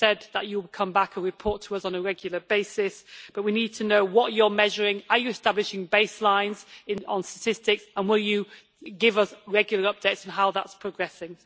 You said that you would come back and report to us on a regular basis, but we need to know what you are measuring are you establishing base lines on statistics, and will you give us regular updates on how that is progressing?